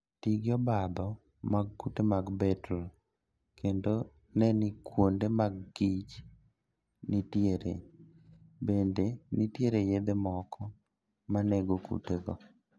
Ti gi obadho mag kute mag beetle kendo ne ni kuonde ma kich nitiere. Bende nitiere yedhe moko ma nego kutego.